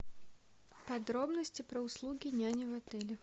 подробности про услуги няни в отеле